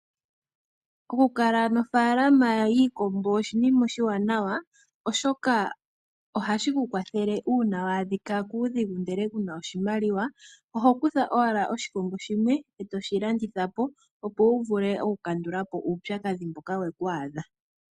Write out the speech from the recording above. Okukala nofaalama yiikombo oshinima oshiwanawa oshoka ohashi ku kwathele uuna wa adhika kuudhigu ndele ku na oshimaliwa oho kutha owala oshikombo shimwe, toshi landitha po opo wu vule okukandula po uupyakadhi mboka we ku adha.